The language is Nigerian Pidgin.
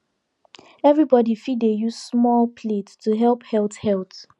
everybody fit dey use small plate to help health health